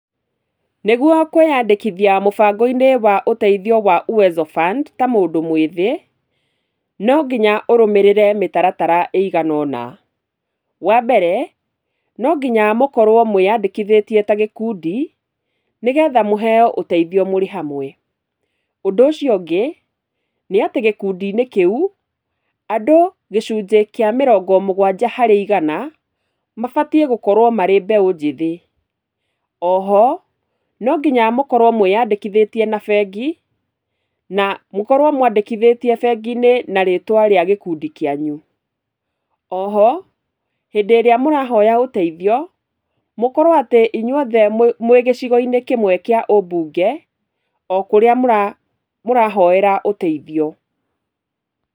Nĩguo kwĩyandĩkithia mũbango-inĩ wa ũteithio wa Uwezo Fund, ta mũndũ mwĩthĩ, no nginya ũrũmĩrĩre mĩtaratara ĩigana ũna, wa mbere, no nginya mũkorwo mwĩyandĩkithĩtie ta gĩkundi, nĩgetha mũheyo ũteithio mũrĩ hamwe, ũndũ ũcio ũngĩ, nĩ atĩ gĩkundi-inĩ kĩu, andũ gĩcunjĩ kĩa mĩrongo mũgwanja harĩ igana, mabatiĩ gũkorwo marĩ mbeũ njĩthĩ, oho, no nginya mũkorwo mwĩyandĩkithĩtie na bengi, na mũkorwo mwandĩkithĩtie bengi-inĩ na rĩtwa rĩa gĩkundi kĩanyu, oho, hĩndĩ ĩrĩa mũrahoya ũteithio, mũkorwo atĩ inywothe mwĩ gĩcigo-inĩ kĩmwe kĩa ũbunge, o kũrĩa mũra mũrahoera ũteithio.